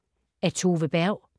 Af Tove Berg